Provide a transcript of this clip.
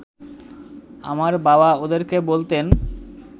আমার বাবা ওদেরকে বলতেন